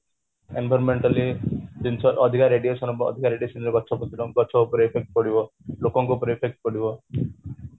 environmentally ଜିନିଷ ଅଧିକ radiation ଯୋଗୁଁ ଗଛ ପତ୍ର ଉପରେ effect ପଡିବ ଲୋକଙ୍କ ଉପରେ effect ପଡିବ